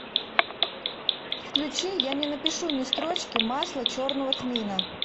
включи я не напишу ни строчки масло черного тмина